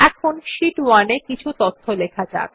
এখন শীট 1 এ কিছু তথ্য লেখা যাক